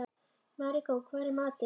Maríkó, hvað er í matinn?